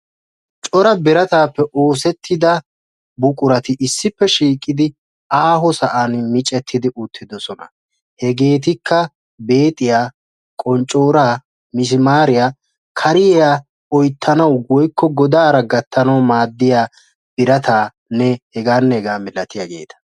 Cora birataappe oosettida buqurati issippe shiiqidi aaho sa'an micettidI uttidosona. Hegeetikka beexiya, qonccooraa, misimaariya, kariya oyittanawu woyikko godaara gattanawu maaddiya birataanne hegaanne hegaa milatiyageeta.